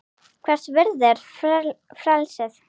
Hvers virði er frelsið?